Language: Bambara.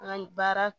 An baara